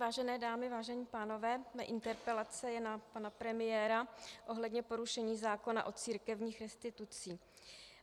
Vážené dámy, vážení pánové, má interpelace je na pana premiéra ohledně porušení zákona o církevních restitucích.